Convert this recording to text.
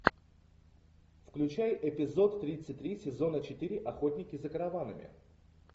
включай эпизод тридцать три сезона четыре охотники за караванами